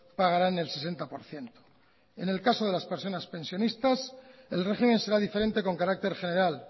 pagarán el sesenta por ciento en el caso de las personas pensionistas el régimen será diferente con carácter general